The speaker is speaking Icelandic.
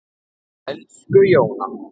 Elsku Jóna.